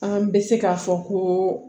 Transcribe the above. An bɛ se k'a fɔ ko